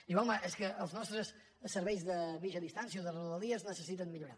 diu home és que els nostres serveis de mitja distància o de rodalies necessiten millorar